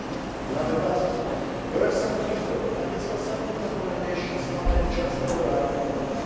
Madam Łybacka your excellent report and its constructive recommendations come at just the right moment.